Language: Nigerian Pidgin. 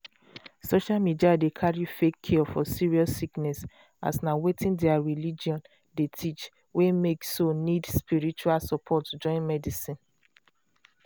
social media dey carry fake cure for serious sickness as na wetin their religion um teach wey make so nid spiritual support join medicine.